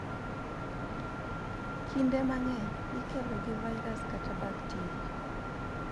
Kinde mang'eny ikelo gi vairas kata bakteria.